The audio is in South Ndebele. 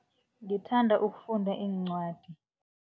Ngithanda ukufunda iincwadi.